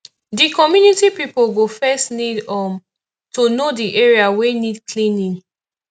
di community pipo go first need um to know di area wey need cleaning